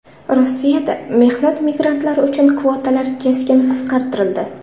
Rossiyada mehnat migrantlari uchun kvotalar keskin qisqartirildi.